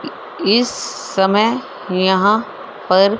इस समय यहां पर--